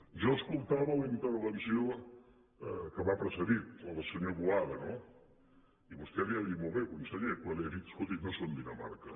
jo escoltava la intervenció que m’ha precedit la del senyor boada no i vostè li ho ha dit molt bé conseller quan li ha dit escolti no som dinamarca